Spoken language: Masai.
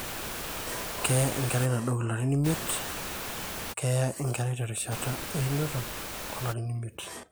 keeya enkerai nadou ilarin te imiet; keeya enkerai terishata einoto olarin imiet